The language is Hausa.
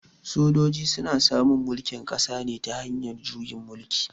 Sojoji su na samun mulkin ƙasa ne ta hanyar juyin mulki.